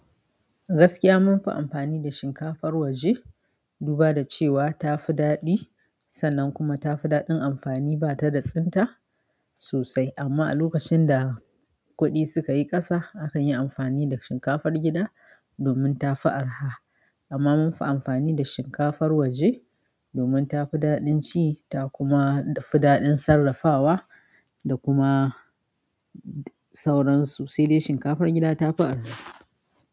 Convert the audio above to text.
Gaskiya munfi amfani da shinkafar waje, duba da cewa tafi daɗi, sannan kuma tafi daɗin amfani batada tsinta sosai. Amma a lokacin da kuɗi suka yi ƙasa, akan yi amfani da shinkafar gida domin tafi araha. Amma munfi amfani da shinkafar waje domin tafi daɗin ci, ta kuma fi daɗin sarrafawa da kuma sauransu. Sai dai shinkafar gida tafi araha.